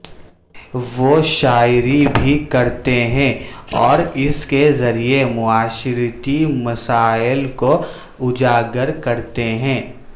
وہ شاعری بھی کرتے ہیں اوراس کے ذریعے معاشرتی مسائل کواجاگر کرتے ہیں